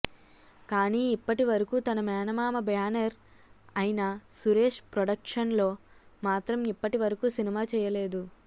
కానీ ఇప్పటివరకు తన మేనమామ బ్యానర్ అయిన సురేష్ ప్రొడక్షన్స్ లో మాత్రం ఇప్పటివరకు సినిమా చేయలేదు